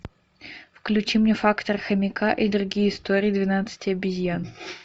включи мне фактор хомяка и другие истории двенадцати обезьян